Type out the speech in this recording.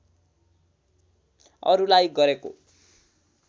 अरुलाई गरेको